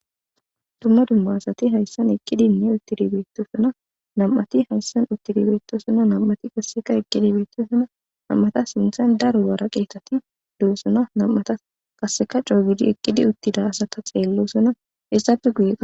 Duma duma asati haysan eqidine utidi betosona nam'ati haysan utidi betosona nam'ati qaseka eqidi betosona nam'ata sintan daro woraqetati dosona nam'ata qaseka c'oo gidi eqidi utida asata xelosona hesape guye ba..